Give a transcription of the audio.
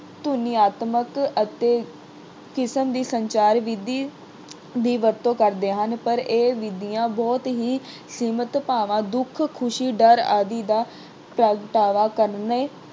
ਧੁਨਿਆਤਮਕ ਅਤੇ ਕ੍ਰਿਸ਼ਨ ਵੀ ਸੰਚਾਰ ਵਿਧੀ ਦੀ ਵਰਤੋਂ ਕਰਦੇ ਹਨ। ਪਰ ਇਹ ਵਿਧੀਆਂ ਬਹੁਤ ਹੀ ਸੀਮਿਤ ਭਾਵਾਂ ਦੁੱਖ, ਖੁਸ਼ੀ, ਡਰ ਆਦਿ ਦਾ ਪ੍ਰਗਟਾਵਾ ਕਰਨ